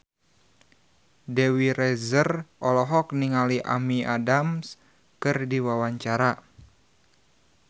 Dewi Rezer olohok ningali Amy Adams keur diwawancara